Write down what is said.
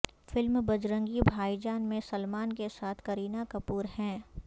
film Bajrangi Bhai Jaan میں سلمان کے ساتھ کرینہ کپور ہیں